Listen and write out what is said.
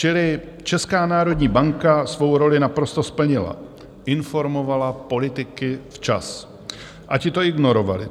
Čili Česká národní banka svou roli naprosto splnila, informovala politiky včas, a ti to ignorovali.